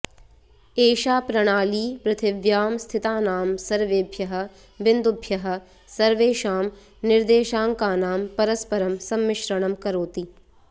एषा प्रणाली पृथ्व्यां स्थितानां सर्वेभ्यः बिन्दुभ्यः सर्वेषां निर्देशाङ्कानां परस्परं सम्मिश्रणं करोति